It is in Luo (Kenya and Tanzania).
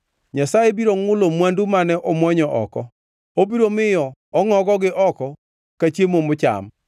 Nyasaye biro ngʼulo mwandu mane omwonyo oko; obiro miyo ongʼogogi oko ka chiemo mocham.